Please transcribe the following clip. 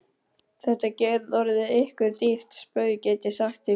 Þetta getur orðið ykkur dýrt spaug, get ég sagt ykkur!